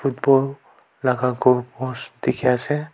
football laga goal post dikhiase.